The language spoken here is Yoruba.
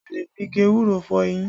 A lè fi igi ewúro fọ eyín